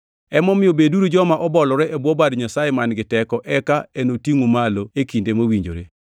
Emomiyo beduru joma obolore e bwo bad Nyasaye man-gi teko eka enotingʼu malo e kinde mowinjore.